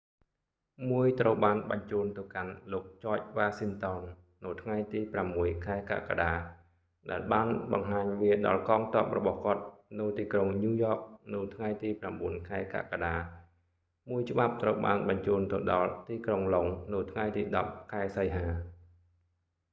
មួយត្រូវបានបញ្ជូនទៅកាន់ លោកចច វ៉ាស៊ីនតោន នៅថ្ងៃទី 6 ខែកក្កដា ដែលបានបង្ហាញវាដល់កងទ័ពរបស់គាត់នៅ ទីក្រុងញូវយ៉ក នៅថ្ងៃទី 9 ខែកក្កដា មួយច្បាប់ត្រូវបានបញ្ជូនទៅដល់ទីក្រុងឡុងដ៍នៅថ្ងៃទី 10 ខែសីហា